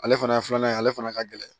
Ale fana ye filanan ye ale fana ka gɛlɛn